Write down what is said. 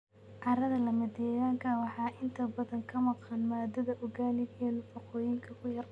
Carrada lamadegaanka ah waxaa inta badan ka maqan maadada organic iyo nafaqooyinka ku yar.